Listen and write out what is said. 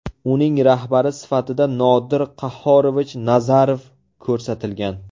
Uning rahbari sifatida Nodir Qahhorovich Nazarov ko‘rsatilgan.